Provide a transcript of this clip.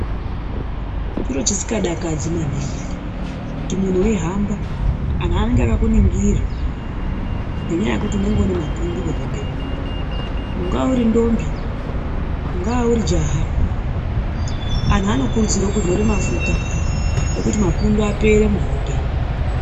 Chiro chisikadakadzi maningi kuti muntu weihamba, antu anenge akakuningira ngenyaya yekuti unenge une mapundu muhope. Ungaa uri ndombi, ungaa uri jaha antu anokurudzirwa kuzora mafuta yekuti mapundu apere muhope.